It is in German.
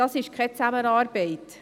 Das ist keine Zusammenarbeit.